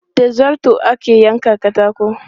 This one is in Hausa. Da zarto ake yankan katako.